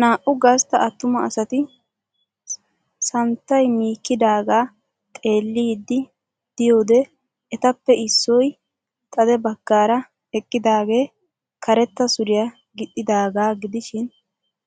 Naa''u gastta attuma asati santtaymikkidaagaaxeelliiddi de'iyode etappe issoy xade baggaara eqqidaage karetta suriya gixxidaagaa gidishin